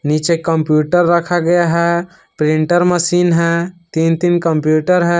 पीछे कंप्यूटर रखा गया है प्रिंटर मशीन है तीन तीन कंप्यूटर है।